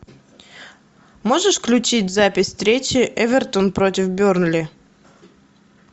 можешь включить запись встречи эвертон против бернли